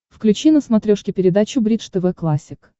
включи на смотрешке передачу бридж тв классик